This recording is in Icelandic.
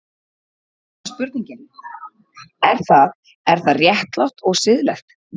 Og þá er spurningin, er það, er það réttlátt og siðlegt?